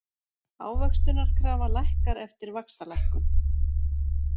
Ávöxtunarkrafa lækkar eftir vaxtalækkun